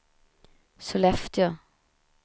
Sollefteå